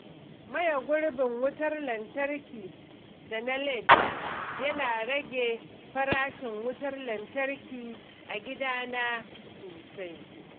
Maye gurbin fitilu da na LED yana rage farashin wutar lantarki a gidana sosai.